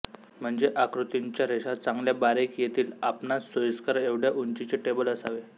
म्हणजे आकृतींच्या रेषा चांगल्या बारीक येतीलं आपणांस सोइस्कर एवढ्या उंचीचें टेबल असावे